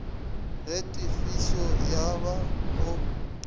ge tefišo ya ba go